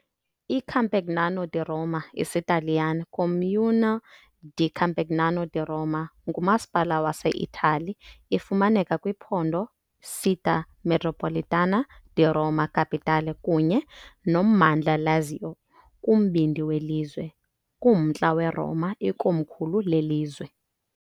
ICampagnano di Roma, isiTaliyane, Comune di Campagnano di Roma, ngumasipala waseItali. Ifumaneka kwiphondo Città metropolitana di Roma Capitale kunye nommandla Lazio, kumbindi welizwe, km kumntla weRoma, ikomkhulu lelizwe.